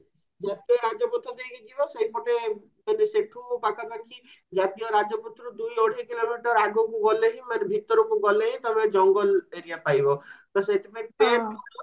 ଜାତୀୟ ରାଜାପଥ ଦେଇକି ଯିବ ସେଇପଟେ ମାନେ ସେଠୁ ପାଖା ପାଖୀ ଜାତୀୟ ରାଜପଥ ଦୁଇ ଅଢେଇ kilometer ଆଗକୁ ଗଲେ ହିଁ ମାନେ ଭିତରକୁ ଗଲେ ତମେ ଜଙ୍ଗଲ area ପାଇବା ତ ସେଇଥିପାଇଁ